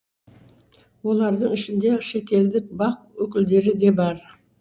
олардың ішінде шетелдік бақ өкілдері де бар